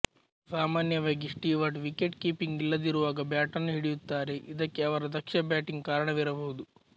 ಸಾಮಾನ್ಯವಾಗಿ Stewart wicket keeping ಇಲ್ಲದಿರುವಾಗ ಬ್ಯಾಟನ್ನು ಹಿಡಿಯುತ್ತಾರೆ ಇದಕ್ಕೆ ಅವರ ದಕ್ಷ ಬ್ಯಾಟಿಂಗ್ ಕಾರಣವಿರಬಹುದು